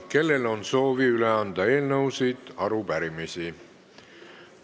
Kellel on soovi üle anda eelnõusid või arupärimisi?